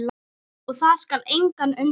Og það skal engan undra.